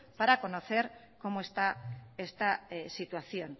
para conocer cómo está esta situación